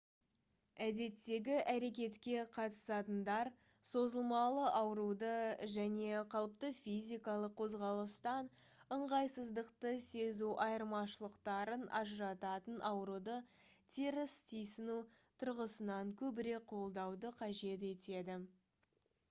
әдеттегі әрекетке қатысатындар созылмалы ауыруды және қалыпты физикалық қозғалыстан ыңғайсыздықты сезу айырмашылықтарын ажырататын ауыруды теріс түйсіну тұрғысынан көбірек қолдауды қажет етеді